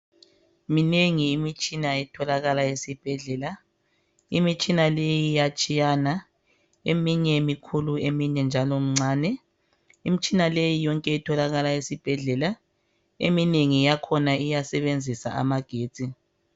Minengi imitshina etholakala esibhedlela imitshina leyi iyatshiyana eminye mikhulu eminye mincane imitshina leyi yonke itholakala esibhedlela eminengi yakhona iyasebenzisa amagetsi